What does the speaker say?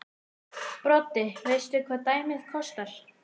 Broddi: Veistu hvað dæmið kostar?